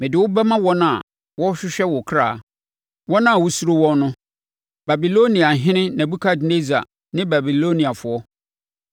Mede wo bɛma wɔn a wɔrehwehwɛ wo kra, wɔn a wosuro wɔn no; Babiloniahene Nebukadnessar ne Babiloniafoɔ.